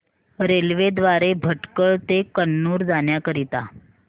railway द्वारे भटकळ ते कन्नूर जाण्या करीता